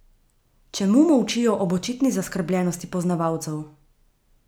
Čemu molčijo ob očitni zaskrbljenosti poznavalcev?